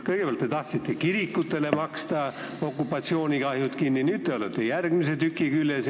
Kõigepealt te tahtsite kirikutele okupatsioonikahjud kinni maksta, nüüd olete järgmise tüki küljes.